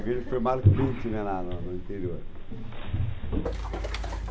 A igreja foi marcante, né, lá no interior.